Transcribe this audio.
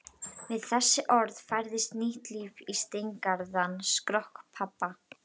Við þessi orð færðist nýtt líf í steingerðan skrokk pabba.